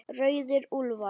Rauðir úlfar